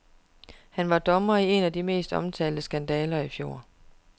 Han var dommer i en af de mest omtalte skandaler i fjor.